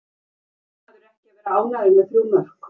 Verður maður ekki að vera ánægður með þrjú mörk?